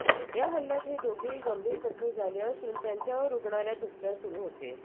या हल्ल्यात हे दोघेही गंभीर जखमी झाले असून त्यांच्यावर रुग्णालयात उपचार सुरू होते